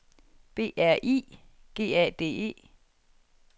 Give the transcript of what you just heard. B R I G A D E